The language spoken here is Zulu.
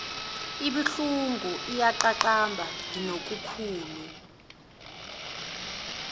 ibuhlungu iyaqaqamba nginokhulu